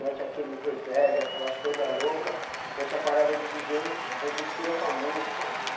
Mete aqueles reverbes, aquelas coisas loucas, mexe a parada de di jê is, mas mistura com a música.